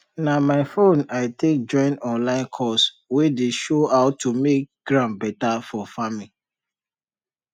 na my phone i take take join online course wey dey show how to make ground better for farming